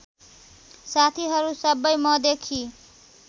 साथीहरू सबै मदेखि